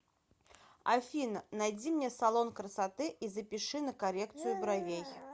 афина найди мне салон красоты и запиши на коррекцию бровей